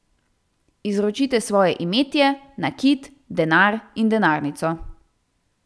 Izročite svoje imetje, nakit, denar in denarnico.